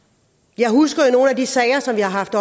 jeg husker jo nogle af de sager som vi har haft